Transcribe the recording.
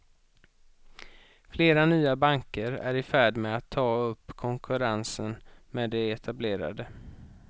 Flera nya banker är i färd med att ta upp konkurrensen med de etablerade.